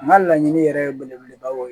N ka laɲini yɛrɛ ye belebelebaw ye